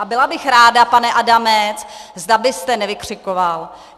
A byla bych ráda, pane Adamče, zda byste nevykřikoval.